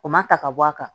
O ma ta ka bɔ a kan